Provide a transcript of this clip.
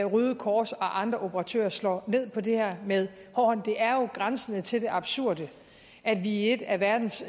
røde kors og andre operatører slår ned på det her med hård hånd det er jo grænsende til det absurde at vi i et af verdens